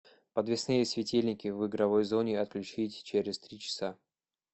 подвесные светильники в игровой зоне отключить через три часа